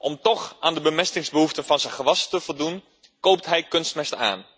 Om toch aan de bemestingsbehoeften van zijn gewas te voldoen, koopt hij kunstmest.